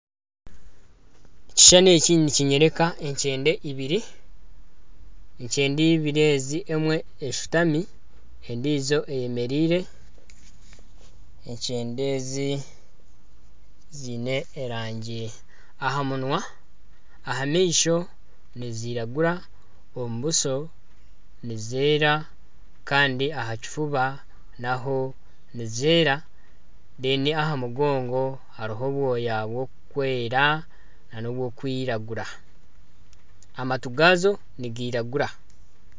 Ekishushani eki nikinyoreka enkyende ibiri , emwe eshutami endijo eyemereire. Enkyende ezi ziine erangi , aha munwa, aha maisho niziragura, omu buso nizeera kandi aha kifuba naho nizeera. Aha mugongo hariho obwoya burikwera n'oburikwiragura. Amatu gazo nigiragura.